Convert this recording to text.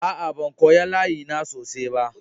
Aa, ban koya layi na sosai ba.